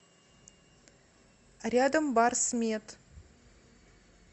рядом барсмед